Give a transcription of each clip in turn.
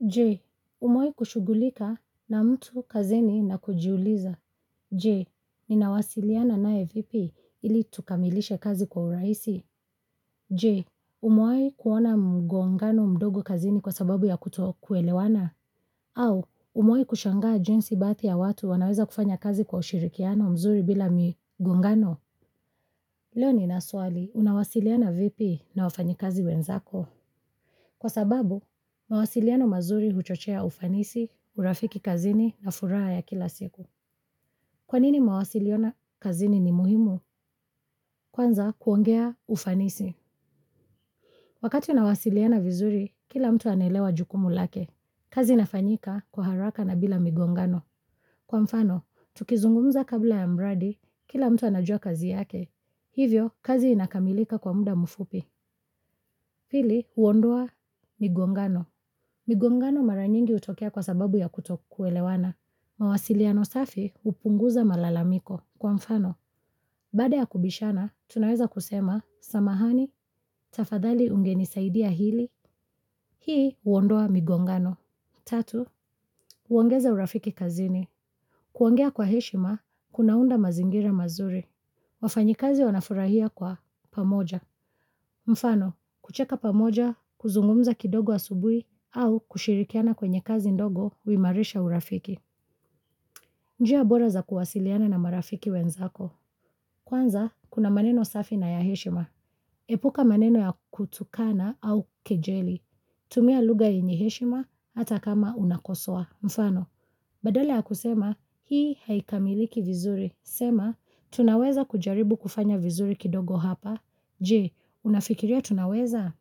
Je, umewahi kushugulika na mtu kazini na kujiuliza. Je, ninawasiliana nae vipi ili tukamilishe kazi kwa urahisi. Je, umewahi kuona mgongano mdogo kazini kwa sababu ya kuto kuelewana. Au, umewahi kushangaa jinsi baadhi ya watu wanaweza kufanya kazi kwa ushirikiano mzuri bila mgongano. Leo nina swali, unawasiliana vipi na wafanyikazi wenzako. Kwa sababu, mawasiliano mazuri huchochea ufanisi, urafiki kazini na furaha ya kila siku. Kwanini mawasiliona kazini ni muhimu? Kwanza kuongea ufanisi. Wakati nawasiliana vizuri, kila mtu anaelewa jukumu lake. Kazi inafanyika kwa haraka na bila migongano. Kwa mfano, tukizungumza kabla ya mradi, kila mtu anajua kazi yake. Hivyo, kazi inakamilika kwa muda mfupi. Pili, huondoa migongano. Migongano mara nyingi hutokea kwa sababu ya kutokuelewana. Mawasiliano safi hupunguza malalamiko. Kwa mfano, baada ya kubishana, tunaweza kusema, samahani, tafadhali ungenisaidia hili. Hii huondoa migongano. Tatu, uongeza urafiki kazini. Kuongea kwa heshima, kunaunda mazingira mazuri. Wafanyikazi wanafurahia kwa pamoja. Mfano, kucheka pamoja, kuzungumza kidogo asubuhi au kushirikiana kwenye kazi ndogo uhimarisha urafiki. Njia bora za kuwasiliana na marafiki wenzako. Kwanza, kuna maneno safi na ya heshima. Epuka maneno ya kutukana au kejeli. Tumia lugha yenye heshima hata kama unakosoa. Mfano, badala ya kusema hii haikamiliki vizuri. Sema, tunaweza kujaribu kufanya vizuri kidogo hapa. Je, unafikiria tunaweza?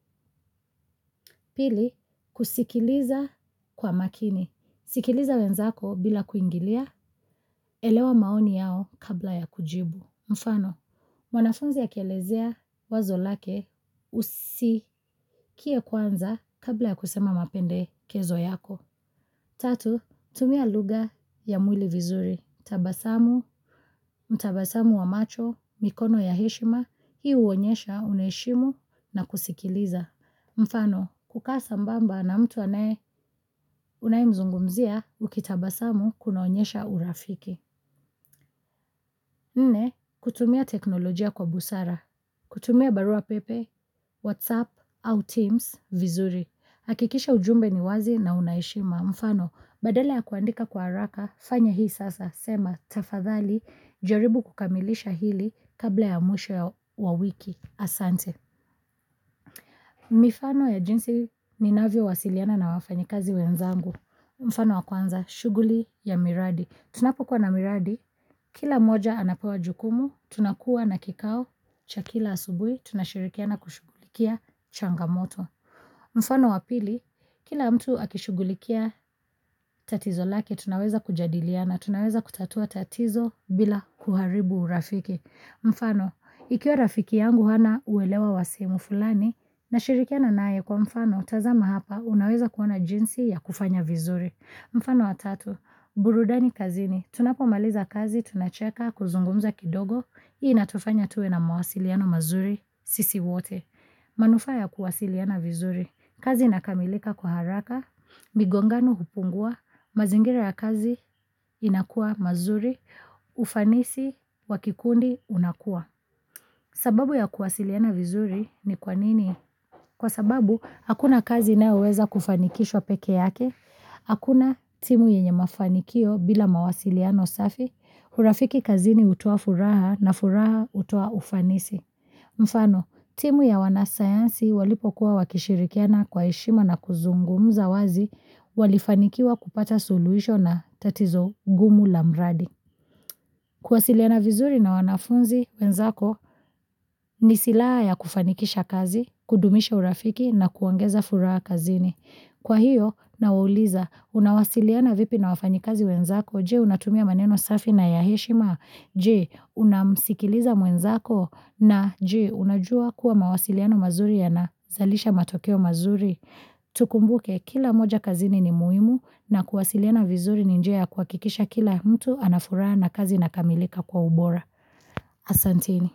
Pili, kusikiliza kwa makini. Sikiliza wenzako bila kuingilia, elewa maoni yao kabla ya kujibu. Mfano, mwanafunzi akielezea wazo lake usikie kwanza kabla ya kusema mapendekezo yako. Tatu, tumia lugha ya mwili vizuri, tabasamu, mtabasamu wa macho, mikono ya heshima, hii huonyesha unaheshimu na kusikiliza. Mfano, kukaa sambamba na mtu anaye, unayemzungumzia ukitabasamu kunaonyesha urafiki. Nne, kutumia teknolojia kwa busara, kutumia barua pepe, whatsapp au teams vizuri. Hakikisha ujumbe ni wazi na una heshima. Mfano, badala ya kuandika kwa haraka, fanya hii sasa, sema, tafadhali, jaribu kukamilisha hili kabla ya mwisho wa wiki, asante. Mifano ya jinsi ninavyo wasiliana na wafanyikazi wenzangu. Mfano wa kwanza, shuguli ya miradi. Tunapokuwa na miradi, kila mmoja anapewa jukumu, tunakuwa na kikao, cha kila asubuhi, tunashirikiana kushughulikia changamoto. Mfano wa pili, kila mtu akishugulikia tatizo lake, tunaweza kujadiliana, tunaweza kutatua tatizo bila kuharibu urafiki. Mfano, ikiwa rafiki yangu hana uelewa wa sehemu fulani, nashirikiana naye kwa mfano, tazama hapa, unaweza kuona jinsi ya kufanya vizuri. Mfano wa tatu, burudani kazini, tunapo maliza kazi, tunacheka, kuzungumza kidogo, hii inatufanya tuwe na mawasiliano mazuri, sisi wote. Manufaa ya kuwasiliana vizuri, kazi inakamilika kwa haraka, migongano hupungua, mazingira ya kazi inakuwa mazuri, ufanisi wa kikundi unakua. Sababu ya kuwasiliana vizuri ni kwanini? Kwa sababu, hakuna kazi inayoweza kufanikishwa peke yake, hakuna timu yenye mafanikio bila mawasiliano safi, urafiki kazini hutoa furaha na furaha hutoa ufanisi. Mfano, timu ya wanasayansi walipo kuwa wakishirikiana kwa heshima na kuzungumza wazi walifanikiwa kupata suluhisho na tatizo ngumu la mradi. Kuwasiliana vizuri na wanafunzi wenzako ni silaha ya kufanikisha kazi, kudumisha urafiki na kuongeza furaha kazini. Kwa hiyo nawauliza unawasiliana vipi na wafanyikazi wenzako, je unatumia maneno safi na ya heshima, je unamsikiliza mwenzako na je unajua kuwa mawasiliano mazuri yanazalisha matokeo mazuri. Tukumbuke kila moja kazini ni muhimu na kuwasiliana vizuri ni njia ya kuhakikisha kila mtu ana furaha na kazi inakamilika kwa ubora. Asanteni.